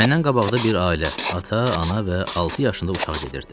Məndən qabaqda bir ailə, ata, ana və altı yaşında uşaq gedirdi.